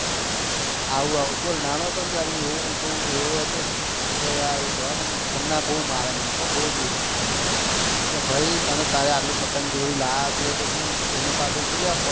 આવું આવું બોલ હું નાનું હતો તો ત્યારે હું એવો હતો ને કે યાર જવા દે ને ખન્ના બહુ મારે મનતો બહુ જીવડે કે ભાઈ તને તારી આટલી પતંગ દોરી લાયા છે તો તું એની એની પાછળ કેટલો પડે છે તું ભાગશે તોં તારે